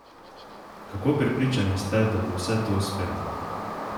Kako prepričani ste, da bo vse to uspelo?